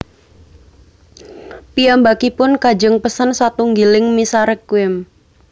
Piyambakipun kajeng pesen satunggiling misa Requiem